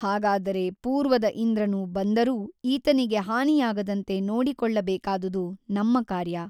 ಹಾಗಾದರೆ ಪೂರ್ವದ ಇಂದ್ರನು ಬಂದರೂ ಈತನಿಗೆ ಹಾನಿಯಾಗದಂತೆ ನೋಡಿಕೊಳ್ಳಬೇಕಾದುದು ನಮ್ಮ ಕಾರ್ಯ.